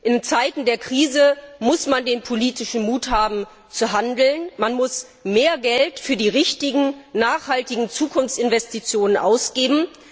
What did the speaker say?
In Zeiten der Krise muss man den politischen Mut zum Handeln haben, man muss mehr Geld für die richtigen, nachhaltigen Zukunftsinvestitionen ausgeben.